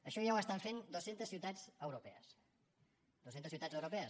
això ja ho fan dues centes ciutats europees dues centes ciutats europees